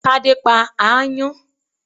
Tádé pa aáyán